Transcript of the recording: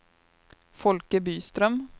Folke Byström